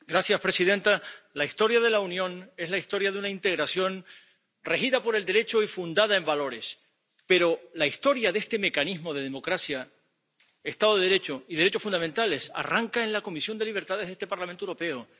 Señora presidenta, la historia de la Unión es la historia de una integración regida por el Derecho y fundada en valores, pero la historia de este mecanismo para la democracia, el Estado de Derecho y los derechos fundamentales arranca en la Comisión de Libertades de este Parlamento Europeo.